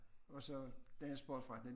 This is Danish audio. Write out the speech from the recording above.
Og så den sportsforretning